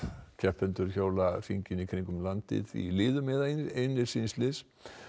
keppendur hjóla hringinn í kringum landið í liðum eða einir síns liðs